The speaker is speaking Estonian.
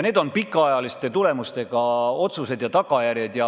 Need on pikaajalise mõjuga otsused ja tagajärjed.